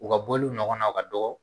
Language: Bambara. U ka bɔliw ɲɔgɔn na o ka dɔgɔ